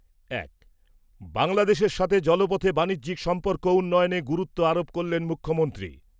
এক বাংলাদেশের সাথে জলপথে বাণিজ্যিক সম্পর্ক উন্নয়নে গুরুত্ব আরোপ করলেন মুখ্যমন্ত্রী৷